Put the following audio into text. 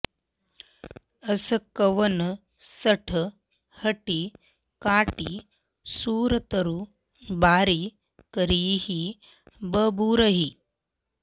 अस कवन सठ हठि काटि सुरतरु बारि करिहि बबूरही